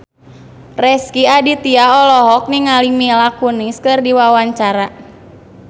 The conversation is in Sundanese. Rezky Aditya olohok ningali Mila Kunis keur diwawancara